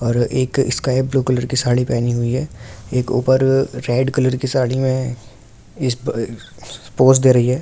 और sky blue colour की साड़ी पहने हुई हैं एक ऊपर अ रेड कलर की साड़ी में इस पे पोज दे रही है।